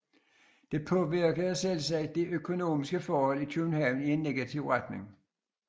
Dette påvirkede selvsagt de økonomiske forhold i København i en negativ retning